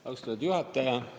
Austatud juhataja!